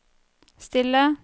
stille